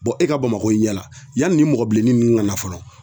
e ka Bamakɔ ye i ɲɛ la yanni, ni mɔgɔ bilenni nunnu ŋana fɔlɔ